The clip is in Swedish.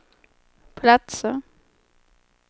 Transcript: platser